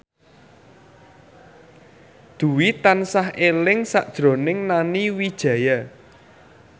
Dwi tansah eling sakjroning Nani Wijaya